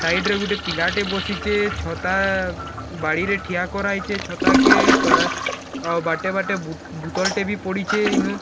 ସାଇଡ୍‌ ରେ ଗୁଟେ ପିଲା ଟେ ବସିଛେ ଛତା ଆ ବାଡ଼ି ରେ ଠିଆ କରା ହେଇଛେ ଛତା କେ ତରା ଆଉ ବାଟେ ବାଟେ ବୁ ବୁତଲ ଟେ ବି ପଡ଼ିଛେ ଇନୁ --